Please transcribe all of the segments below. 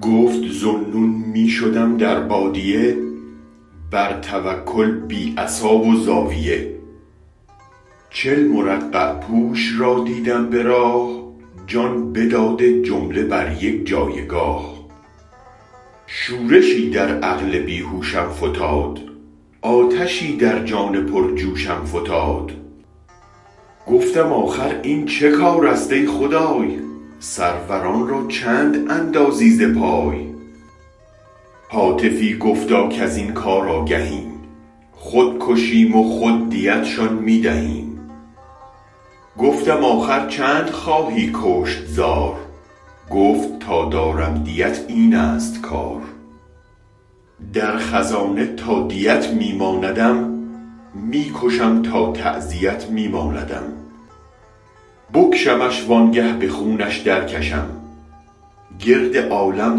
گفت ذو النون می شدم در بادیه بر توکل بی عصا و زاویه چل مرقع پوش را دیدم به راه جان بداده جمله بر یک جایگاه شورشی در عقل بیهوشم فتاد آتشی در جان پر جوشم فتاد گفتم آخر این چه کارست ای خدای سروران را چند اندازی ز پای هاتفی گفتا کزین کار آگهیم خود کشیم و خود دیتشان می دهیم گفتم آخر چند خواهی کشت زار گفت تا دارم دیت اینست کار در خزانه تادیت می ماندم می کشم تا تعزیت می ماندم بکشمش وانگه به خونش درکشم گرد عالم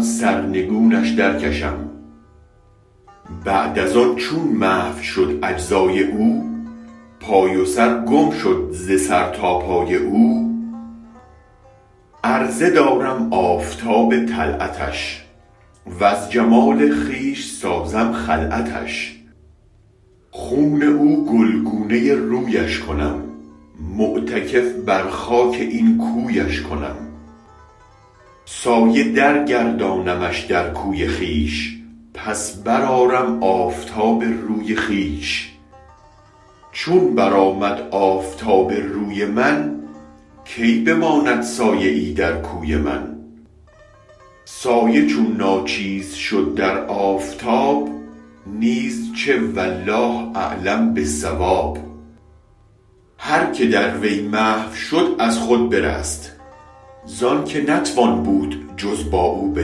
سرنگونش درکشم بعد از آن چون محو شد اجزای او پای و سر گم شد ز سر تا پای او عرضه دارم آفتاب طلعتش وز جمال خویش سازم خلعتش خون او گلگونه رویش کنم معتکف بر خاک این کویش کنم سایه در گردانمش در کوی خویش پس برآرم آفتاب روی خویش چون برآمد آفتاب روی من کی بماند سایه ای در کوی من سایه چون ناچیز شد در آفتاب نیز چه والله اعلم با الصواب هرکه در وی محو شد از خود برست زانک نتوان بود جز با او به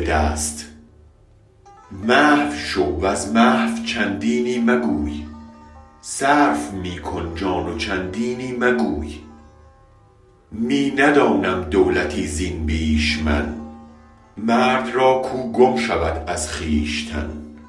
دست محو شو و از محو چندینی مگوی صرف می کن جان و چندینی مگوی می ندانم دولتی زین بیش من مرد را کو گم شود از خویشتن